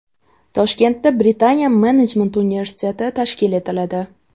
Toshkentda Britaniya menejment universiteti tashkil etiladi.